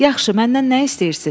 Yaxşı, məndən nə istəyirsiz?